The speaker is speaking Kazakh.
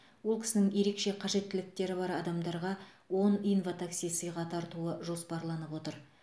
ол кісінің ерекше қажеттіліктері бар адамдарға он инватакси сыйға тартуы жоспарланып отыр